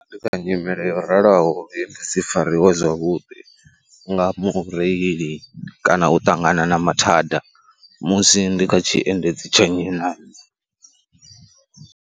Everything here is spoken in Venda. Ndi kha nyimele yo raloho ndi si fariwe zwavhudi nga mureili kana u ṱangana na mathada musi ndi kha tshiendedzi tsha nnyi na nnyi.